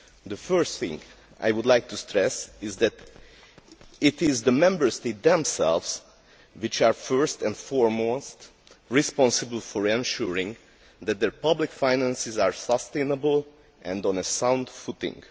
The first thing I would like to stress is that it is the Member States themselves which are, first and foremost, responsible for ensuring that their public finances are sustainable and on a sound footing.